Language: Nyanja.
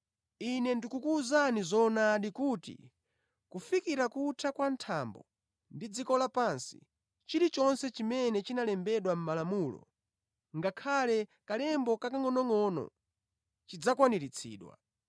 Ine ndikukuwuzani zoonadi kuti, kufikira kutha kwa thambo ndi dziko lapansi, chilichonse chimene chinalembedwa mʼmalamulo, ngakhale kalemba kakangʼonongʼono, chidzakwaniritsidwa.